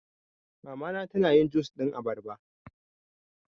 Mama na ta na yin jus ɗin abarba